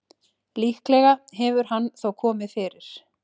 Líklega hefur hann þó komið fyrir.